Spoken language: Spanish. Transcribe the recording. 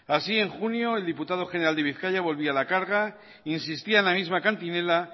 así en junio el diputado general de bizkaia volvía a la carga insistía en la misma cantinela